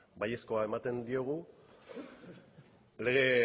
baiezkoa ematen diogu lege